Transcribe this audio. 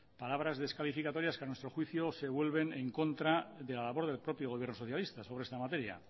palabras descalificatorias que a nuestro juicio se vuelven en contra de la labor del propio gobierno socialista sobre esta materia